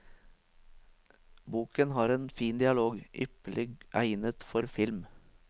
Boken har en fin dialog, ypperlig egnet for film.